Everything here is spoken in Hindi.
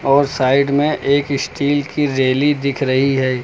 और साइड में एक स्टील की रैली दिख रही है।